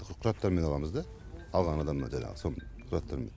құжаттармен аламыз да алған адамнан жаңағы сол құжаттармен